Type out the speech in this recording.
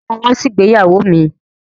Sọ ma wá sí ìgbéyàwó mi?